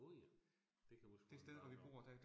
Åh ja, det kan måske bare gøre